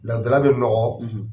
Laturudala bɛ nɔgɔ.